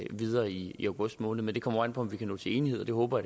videre i i august måned men det kommer jo an på om vi kan nå til enighed og det håber